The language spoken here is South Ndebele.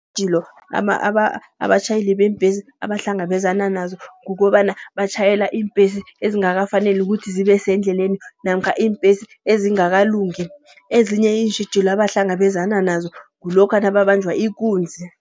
Iintjhijilo abatjhayeli beembesi abahlangabezana nazo, kukobana batjhayela iimbhesi ezingakafaneli ukuthi zibe sendleleni. Namkha iimbhesi ezingakalungi. Ezinye iintjhijilo abahlangabezana nazo kulokha nababanjwa ikunzi.